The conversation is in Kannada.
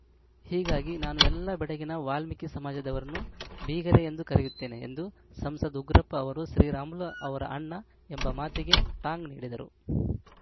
ಹೀಗಾಗಿ ನಾನು ಎಲ್ಲ ಬೆಡಗಿನ ವಾಲ್ಮೀಕಿ ಸಮಾಜದವರನ್ನು ಬೀಗರೆ ಎಂದು ಕರೆಯುತ್ತೇನೆ ಎಂದು ಸಂಸದ ಉಗ್ರಪ್ಪ ಅವರು ಶ್ರೀರಾಮುಲು ಅವರ ಅಣ್ಣ ಎಂಬ ಮಾತಿಗೆ ಟಾಂಗ್‌ ನೀಡಿದರು